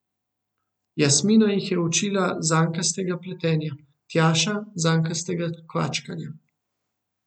Jasmina jih je učila zankastega pletenja, Tjaša zankastega kvačkanja.